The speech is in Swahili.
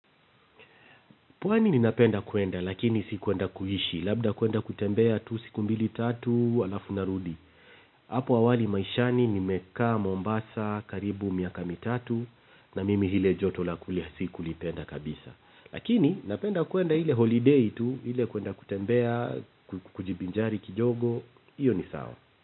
Pwani ninapenda kwenda, lakini si kwenda kuishi. Labda kwenda kutembea tu siku mbili tatu halafu narudi. Hapo awali maishani nimekaa Mombasa karibu miaka mitatu na mimi ile joto la kule sikulipenda kabisa. Lakini napenda kwenda ile holidei tu ile ya kwenda kutembea, kujivinjari kidogo. Iyo ni sawa.